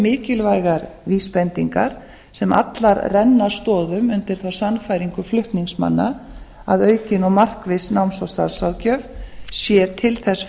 mikilvægar vísbendingar sem allar renna stoðum undir þá sannfæringu flutningsmanna að aukin og markviss náms og starfsráðgjöf sé til þess